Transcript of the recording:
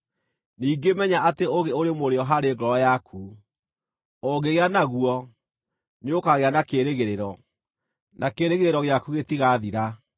Ningĩ menya atĩ ũũgĩ ũrĩ mũrĩo harĩ ngoro yaku; ũngĩgĩa naguo, nĩũkagĩa na kĩĩrĩgĩrĩro, na kĩĩrĩgĩrĩro gĩaku gĩtigaathira.